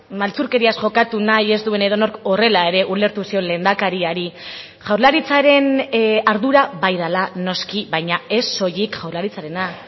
maltzurkeriaz jokatu nahi ez duen edonork horrela ere ulertu zion lehendakariari jaurlaritzaren ardura bai dela noski baina ez soilik jaurlaritzarena